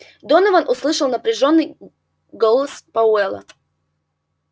донован услышал напряжённый голос пауэлла